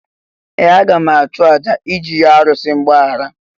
Ee! Aga m achụ àjà iji yọọ arụsị mgbaghara.